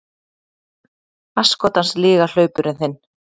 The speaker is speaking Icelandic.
Asskotans lygalaupurinn þinn!